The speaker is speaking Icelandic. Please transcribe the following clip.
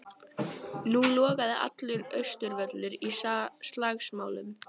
Nú logaði allur Austurvöllur í slagsmálum.